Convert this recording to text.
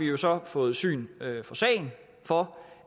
jo så der fået syn for sagen for